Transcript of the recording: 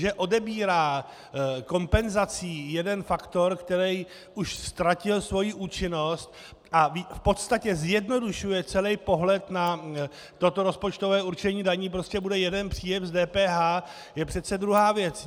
Že odebírá kompenzací jeden faktor, který už ztratil svoji účinnost, a v podstatě zjednodušuje celý pohled na toto rozpočtové určení daní, prostě bude jeden příjem z DPH, je přece druhá věc.